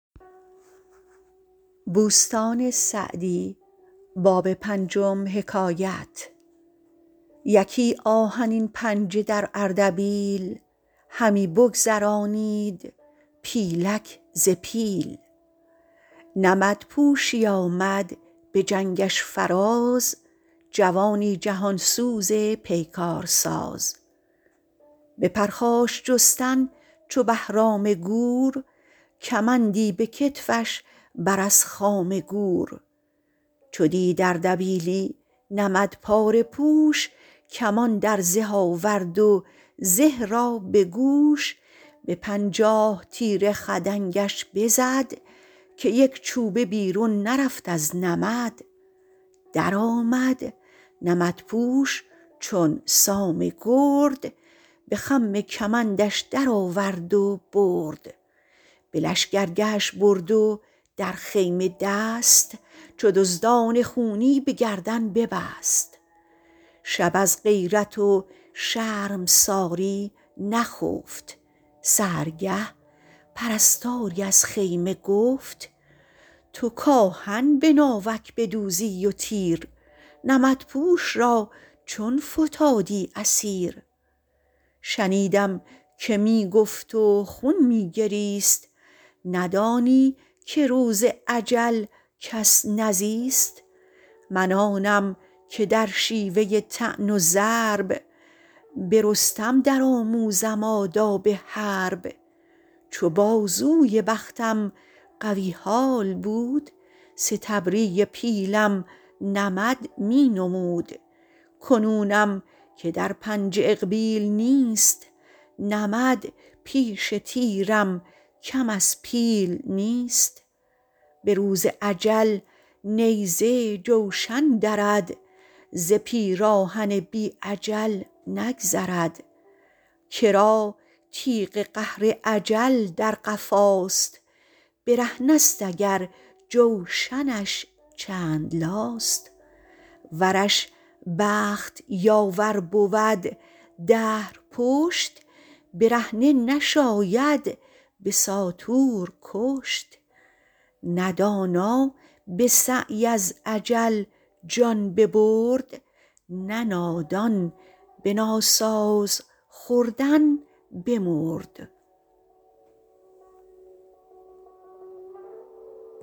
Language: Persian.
یکی آهنین پنجه در اردبیل همی بگذرانید پیلک ز پیل نمد پوشی آمد به جنگش فراز جوانی جهان سوز پیکار ساز به پرخاش جستن چو بهرام گور کمندی به کتفش بر از خام گور چو دید اردبیلی نمد پاره پوش کمان در زه آورد و زه را به گوش به پنجاه تیر خدنگش بزد که یک چوبه بیرون نرفت از نمد درآمد نمدپوش چون سام گرد به خم کمندش درآورد و برد به لشکرگهش برد و در خیمه دست چو دزدان خونی به گردن ببست شب از غیرت و شرمساری نخفت سحرگه پرستاری از خیمه گفت تو کآهن به ناوک بدوزی و تیر نمدپوش را چون فتادی اسیر شنیدم که می گفت و خون می گریست ندانی که روز اجل کس نزیست من آنم که در شیوه طعن و ضرب به رستم در آموزم آداب حرب چو بازوی بختم قوی حال بود ستبری پیلم نمد می نمود کنونم که در پنجه اقبیل نیست نمد پیش تیرم کم از پیل نیست به روز اجل نیزه جوشن درد ز پیراهن بی اجل نگذرد کرا تیغ قهر اجل در قفاست برهنه ست اگر جوشنش چند لاست ورش بخت یاور بود دهر پشت برهنه نشاید به ساطور کشت نه دانا به سعی از اجل جان ببرد نه نادان به ناساز خوردن بمرد